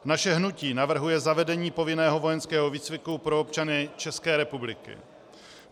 Naše hnutí navrhuje zavedení povinného vojenského výcviku pro občany České republiky.